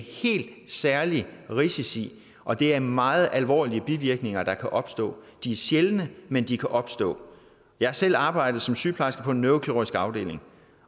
helt særlige risici og det er meget alvorlige bivirkninger der kan opstå de er sjældne men de kan opstå jeg har selv arbejdet som sygeplejerske på en neurokirurgisk afdeling